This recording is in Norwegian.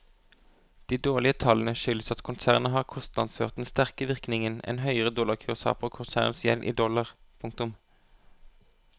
De dårlige tallene skyldes at konsernet har kostnadsført den sterke virkningen en høyere dollarkurs har på konsernets gjeld i dollar. punktum